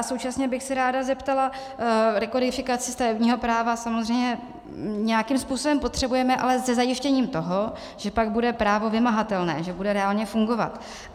A současně bych se ráda zeptala - rekodifikaci stavebního práva samozřejmě nějakým způsobem potřebujeme, ale se zajištěním toho, že pak bude právo vymahatelné, že bude reálně fungovat.